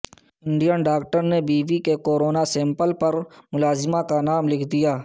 Indian doctor نے بیوی کے کورونا سیمپل پر ملازمہ کا نام لکھ دیا